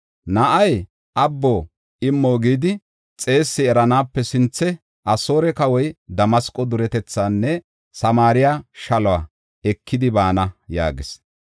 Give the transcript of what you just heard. Na7ay, ‘Abbo, immo’ gidi xeessi eranaape sinthe Asoore kawoy, Damasqo duretethaanne Samaariya shaluwa ekidi baana” yaagis.